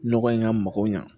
Nɔgɔ in ka mago ɲa